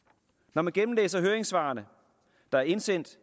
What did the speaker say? når man gennemlæser høringssvarene der er indsendt